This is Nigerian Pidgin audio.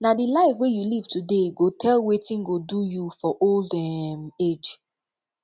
na di life wey you live today go tell wetin go do you for old um age